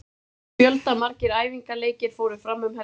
Fjöldamargir æfingaleikir fóru fram um helgina.